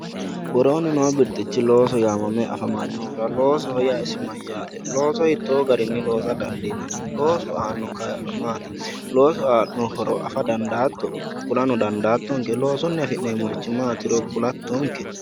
worooni noo birxichi looso yaamamme afamanohura loosoho yaa isi mayaate looso hitoo garinni loosa dandiinanni loosu aano kaa'lo maati loosu aano horo afa dandaato kulano dadaattonke loosunni afi'neemorichi maatiro kulattonke.